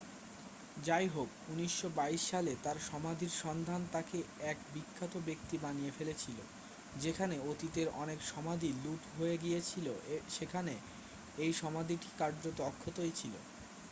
যাইহোক 1922 সালে তাঁর সমাধির সন্ধান তাকে এক বিখ্যাত ব্যক্তি বানিয়ে ফেলেছিল যেখানে অতীতের অনেক সমাধি লুট হয়ে গিয়েছিল সেখানে এই সমাধিটি কার্যত অক্ষতই ছিল